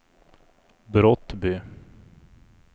Brottby